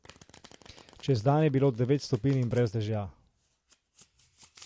Čez dan je bilo devet stopinj in brez dežja.